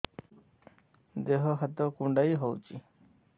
ଦେହ ହାତ କୁଣ୍ଡାଇ ହଉଛି